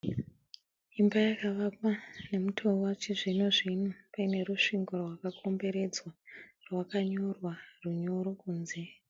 Imba yakavakwa nemutoo wechizvino zvino paine rusvingo rwakakomberedza rwakanyorwa runyoro kunze.